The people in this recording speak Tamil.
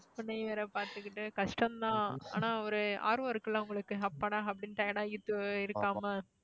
உன்னைய வேற பார்த்துக்கிட்டு கஷ்டம்தான் ஆனா ஒரு ஆர்வம் இருக்குல்ல உங்களுக்கு அப்பாடா அப்படின்னு tired ஆகிட்டு இருக்காம